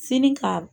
Fini ka